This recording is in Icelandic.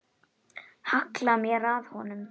Halla mér að honum.